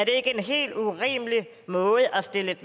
ikke en helt urimelig måde at stille et